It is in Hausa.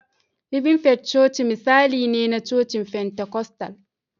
Living Faith chochice misali ne na cocin Pentikostal